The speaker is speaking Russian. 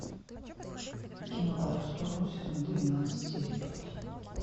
кино по ту сторону сезон двенадцать серия пять